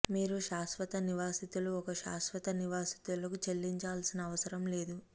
మీరు శాశ్వత నివాసితులు ఒక శాశ్వత నివాసితులకు చెల్లించాల్సిన అవసరం లేదు